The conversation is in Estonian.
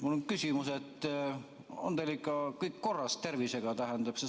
Mul on küsimus: kas teil on tervisega ikka kõik korras?